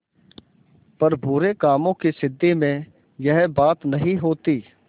पर बुरे कामों की सिद्धि में यह बात नहीं होती